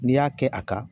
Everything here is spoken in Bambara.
N'i y'a kɛ a kan